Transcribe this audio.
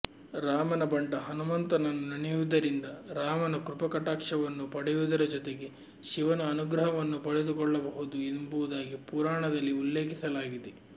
ರಾಮನ ಬಂಟ ಹನುಂತನನ್ನು ನೆನೆಯುವುದರಿಂದ ರಾಮನ ಕೃಪಾಕಟಾಕ್ಷವನ್ನು ಪಡೆಯುವುದರ ಜೊತೆಗೆ ಶಿವನ ಅನುಗ್ರಹವನ್ನು ಪಡೆದುಕೊಳ್ಳಬಹುದು ಎಂಬುದಾಗಿ ಪುರಾಣದಲ್ಲಿ ಉಲ್ಲೇಖಿಸಲಾಗಿದೆ